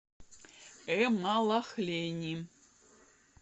эмалахлени